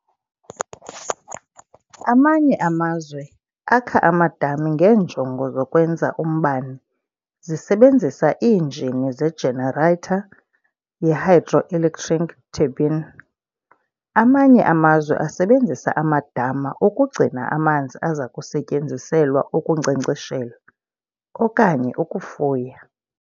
Amanye amazwe akha amadami ngeenjongo zokwenza umbane zisebenzisa iinjini zejeneratha yehydroelectric turbine, Amanye amazwe asebenzisa amadama ukugcina amanzi azakusetyenziselwa ukunkcenkceshela, okanye ukufuya.